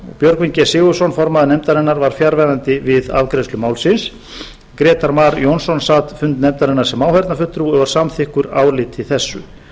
björgvin g sigurðsson formaður nefndarinnar var fjarverandi við afgreiðslu málsins grétar mar jónsson sat fund nefndarinnar sem áheyrnarfulltrúi og er samþykkur áliti þessu